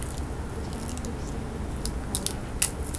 татьяна алексеевна баткаева